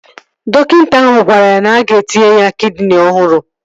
Dọkịta ahụ gwara ya na-aga etinye ya kidini ọhụrụ